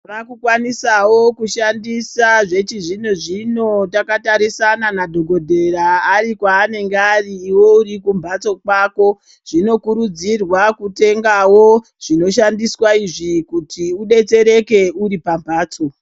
Raku kwanisavo kushandisa zvechizvino-zvino takatarisana nadhogodhera ari kwaanenge ari ive uri kumhatso kwako. Zvino kurudzirwa kutengavo zvino tambiswa izvi kuti ubetsereke uripamhatso.